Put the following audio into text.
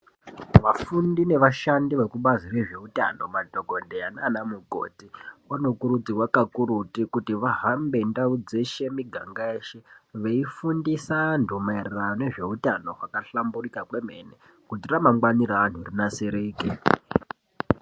Vafundi nevashandi vekubazi rezveutano madhokodheya nanamukoti vanokurudzirwa kakurutu kuti vahambe ndau dzeshe miganga yeshe veifundisa vanthu maererano nezveutano hwakahlamburika kwemene kuti ramangwani reanthu rinasirike.